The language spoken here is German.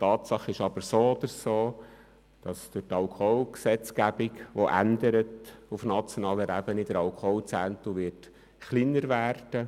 Tatsache ist aber so oder so, dass durch die Änderung der Alkoholgesetzgebung auf nationaler Ebene der Alkoholzehntel kleiner wird.